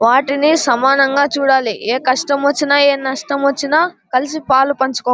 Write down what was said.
వాటిని సమానంగా చూడాలి. ఏ కష్టం వచ్చిన ఏ నష్టం వచ్చిన కలిసి పాలు పంచు --